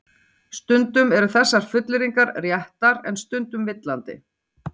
Stundum eru þessar fullyrðingar réttar en stundum villandi.